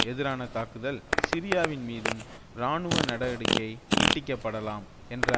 எதிரான தாக்குதல் சிரியாவின்மீதும் இராணுவ நடவடிக்கை நீட்டிக்கப்படலாம் என்ற